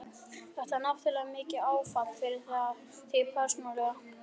Þetta er náttúrlega mikið áfall fyrir þig persónulega?